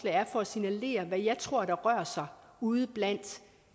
er for at signalere hvad jeg tror rører sig ude blandt